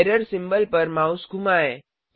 error symbol पर mouse घुमाएँ